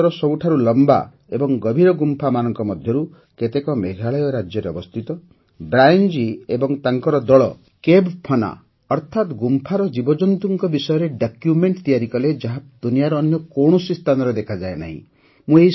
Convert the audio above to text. ଭାରତର ସବୁଠାରୁ ଳମ୍ବା ଏବଂ ଗଭୀର ଗୁମ୍ଫାମାନଙ୍କ ମଧ୍ୟରୁ କେତେକ ମେଘାଳୟ ରାଜ୍ୟରେ ଅବସ୍ଥିତ ବ୍ରାୟନ୍ ଜୀ ଏବଂ ତାଙ୍କର ଦଳ କେଭ୍ ଫାଉନା ଅର୍ଥାତ୍ ଗୁମ୍ଫାର ଜୀବଜନ୍ତୁମାନଙ୍କ ବିଷୟରେ ଡକ୍ୟୁମେଣ୍ଟ ତିଆରି କଲେ ଯାହା ଦୁନିଆର ଅନ୍ୟ କୌଣସି ସ୍ଥାନରେ ଦେଖାଯାଏ ନାହିଁ